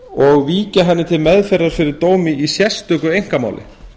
og víkja henni til meðferðar fyrir dómi í sérstöku einkamáli